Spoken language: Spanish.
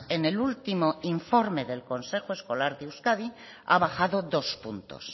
en el último informe del consejo escolar de euskadi ha bajado dos puntos